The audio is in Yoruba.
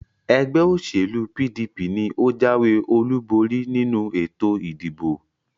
Ẹgbẹ́ òṣèlú PDP ni ó jáwé olúborí nínú ètò ìdìbò